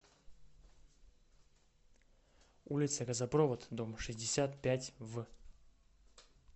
улица газопровод дом шестьдесят пять в